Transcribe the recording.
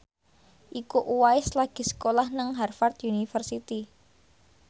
Iko Uwais lagi sekolah nang Harvard university